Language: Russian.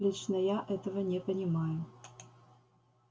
лично я этого не понимаю